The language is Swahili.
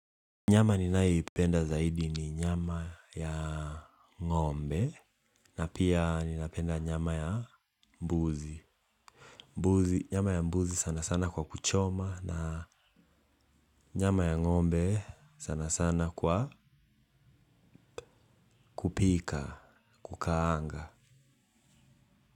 Nyama ninayoipenda zaidi ni nyama ya ngombe na pia ninapenda nyama ya mbuzi. Nyama ya mbuzi sana sana kwa kuchoma na nyama ya ngombe sana sana kwa kupika, kukaanga.